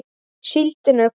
Síldin er komin!